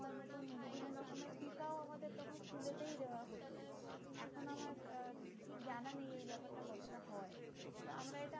স্কুলেতেই দেওয়া হতো। এখন আমার আহ ঠিক জানা নেই এই ব্যাপারটা কতটা হয়। কিন্তু আমরা এটা